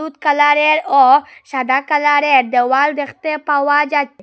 হলুদ কালারের ও সাদা কালারের দেওয়াল দেখতে পাওয়া যা--